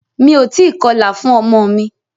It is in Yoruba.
Mí o tí kọlà fún ọmọ mi.